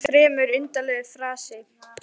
Hann var fremur undarlegur í fasi.